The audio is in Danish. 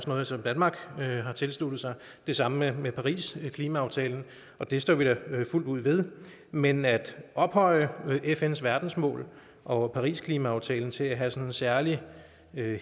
noget som danmark har tilsluttet sig det samme med parisklimaaftalen og det står vi da fuldt ud ved men at ophøje fns verdensmål og parisklimaaftalen til at have sådan en særlig